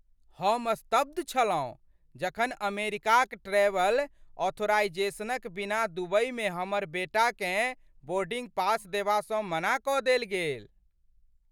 हम स्तब्ध छलहुँ जखन अमेरिकाक ट्रैवल ऑथराइज़ेशनक बिना दुबईमे हमर बेटाकेँ बोर्डिंग पास देबासँ मना कऽ देल गेल।